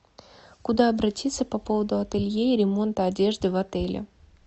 куда обратиться по поводу ателье и ремонта одежды в отеле